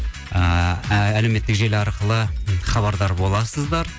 ыыы әлеуметтік желі арқылы хабардар боласыздар